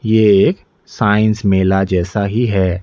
ये साइंस मेला जैसा ही है।